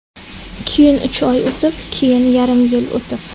Keyin uch oy o‘tib, keyin yarim yil o‘tib.